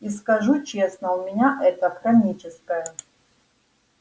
и скажу честно у меня это хроническое